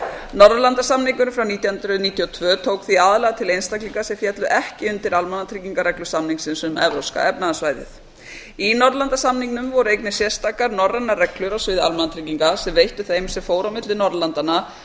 norðurlandasamningurinn frá nítján hundruð níutíu og tvö tók því aðallega til einstaklinga sem féllu ekki undir almannatryggingareglur samningsins um evrópska efnahagssvæðið í norðurlandasamningnum voru einnig sérstakar norrænar reglur á sviði almannatrygginga sem veittu þeim sem fóru á milli norðurlandanna